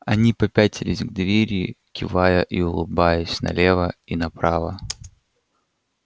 они попятились к двери кивая и улыбаясь налево и направо